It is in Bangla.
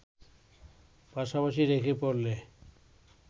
পাশাপাশি রেখে পড়লে